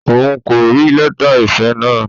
Òun kò rí lẹta ìfẹ náà?